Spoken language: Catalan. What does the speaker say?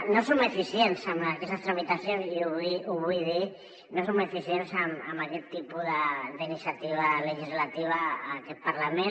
no som eficients en aquestes tramitacions i ho vull dir no som eficients en aquest tipus d’iniciativa legislativa en aquest parlament